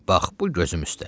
Bax bu gözüm üstə.